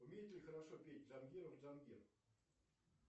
умеет ли хорошо петь джангиров джангир